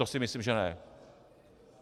To si myslím že ne.